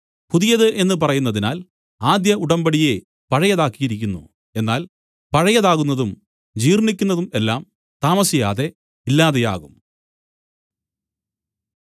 പുതിയത് എന്നു പറയുന്നതിനാൽ ആദ്യ ഉടമ്പടിയെ പഴയതാക്കിയിരിക്കുന്നു എന്നാൽ പഴയതാകുന്നതും ജീർണ്ണിക്കുന്നതും എല്ലാം താമസിയാതെ ഇല്ലാതെയാകും